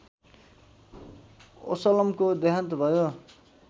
वसल्लमको देहान्त भयो